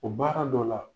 O baara dɔ la